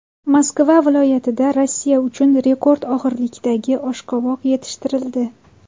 Moskva viloyatida Rossiya uchun rekord og‘irlikdagi oshqovoq yetishtirildi.